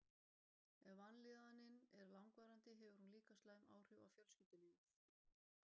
Ef vanlíðanin er langvarandi hefur hún líka slæm áhrif á fjölskyldulífið.